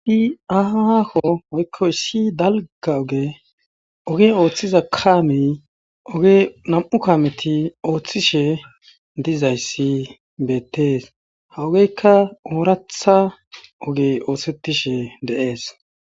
Di aha aako woykkoy ssi dalga oge oge ooththiza kaami oge nam7u kaameti ooththishe dizayssi beettees hawogeykka ooratha oge oosettishe de7ees.